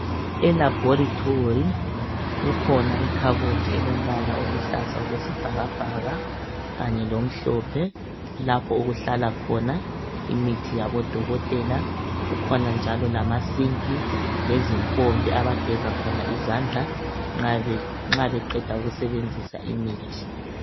Elaboratory kukhona ikhabothi elombala oluhlaza okwesibhakabha lomhlophe lapho okuhlala khona imithi yabodokotela kukhona njalo lamasinki lempompi abageza khona izandla nxa beqeda kubamba imithi